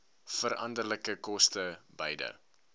veranderlike koste beide